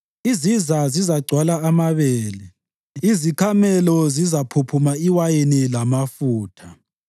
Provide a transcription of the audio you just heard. Iziza zizagcwala amabele; izikhamelo zizaphuphuma iwayini lamafutha.